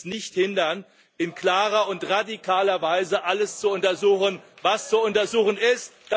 Das wird uns nicht hindern, in klarer und radikaler Weise alles zu untersuchen, was zu untersuchen ist.